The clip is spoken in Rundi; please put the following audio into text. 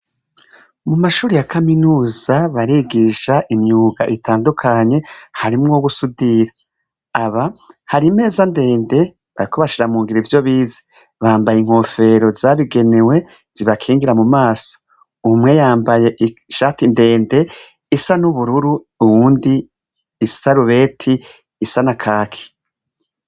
Mumashure yakaminuza barigisha imyuga itandukanye harimwo gusudira, aba hari imeza ndende bariko bashira mungiro ivyo bize bambaye inkofero zabigenewe zibakingira mumaso, umwe yambaye ishati ndende isa nubururu uwundi isarubeti isa nakaki.